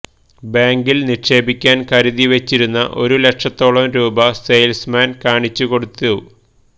ബാങ്കില് നിക്ഷേപിക്കാന് കരുതി വച്ചിരുന്ന ഒരു ലക്ഷത്തോളം രൂപ സെയില്സ്മാന് കാണിച്ചു കൊടുത്തു